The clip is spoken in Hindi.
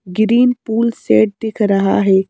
ग्रीन पुल शेड दिख रहा है।